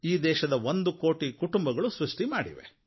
ಈ ದೇಶದ ಒಂದು ಕೋಟಿ ಕುಟುಂಬಗಳು ಸೃಷ್ಟಿ ಮಾಡಿವೆ